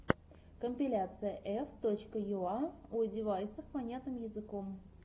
компиляция ф точка юа о девайсах понятным языком